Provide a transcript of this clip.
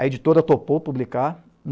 A editora topou publicar.